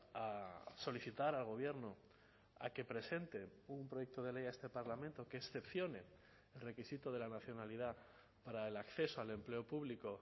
a solicitar al gobierno a que presente un proyecto de ley a este parlamento que excepcione el requisito de la nacionalidad para el acceso al empleo público